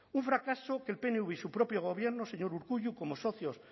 un fracaso que el pnv y su propio gobierno señor urkullu como socios